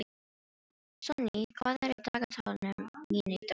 Sonný, hvað er á dagatalinu mínu í dag?